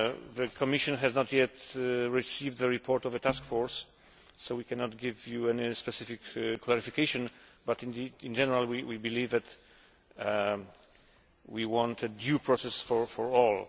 The Commission has not yet received the report of the task force, so we cannot give you any specific clarification, but in general, we believe that we want a due process for all.